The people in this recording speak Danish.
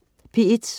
P1: